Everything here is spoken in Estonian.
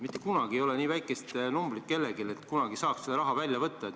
Mitte kunagi ei ole kellelgi kogutud nii väikest summat, et saab selle raha korraga välja võtta.